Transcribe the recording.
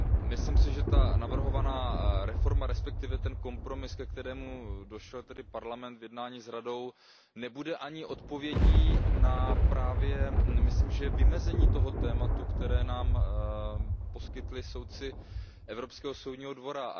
Myslím si, že ta navrhovaná reforma, respektive ten kompromis, ke kterému došel Parlament v jednání s Radou, nebude ani odpovědí na vymezení toho tématu, které nám poskytli soudci Evropského soudního dvora.